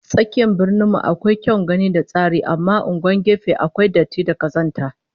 Tsakiyar Birnin mu akwai kyawun gani da tsari amma unguwannin gefe akwai datti da kazanta